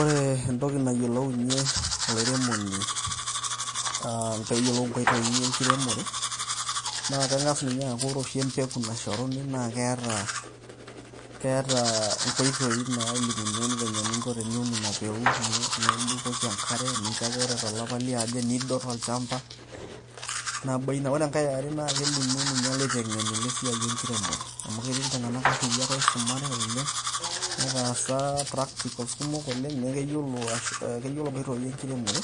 Ore entoki nayiolounyie olairemoni aa peyiolou inkotoi enkiremore na kegas ninye aku ore oshi empeku nashoruni na keeta aa inkoitoi nalimu eningo venye ninko piun ina peku nibukoki enkare nincho ake ore tolapa liare nidot olshamba, Nabo ina ore enkae are na kelimu ninye ilaitengeni lesiai enkiremore amu keeti iltungana airiak oisumate oleng neetasa practical kumok oleng niaku keyiolo ashu keyiolo nkoitoi enkiremore